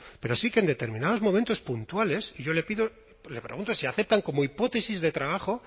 pero sí que en determinados momentos puntuales yo le pido le pregunto si aceptan como hipótesis de trabajo